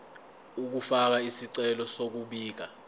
ukufaka isicelo sokubika